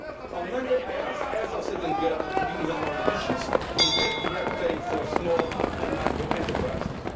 On Monday I asked the Heads of State or Government to be even more ambitious in cutting red tape for small and micro enterprises.